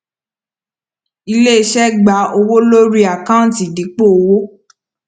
iléiṣẹ gba owó lórí àkáǹtì dípò owó